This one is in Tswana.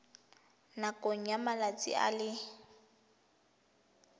nakong ya malatsi a le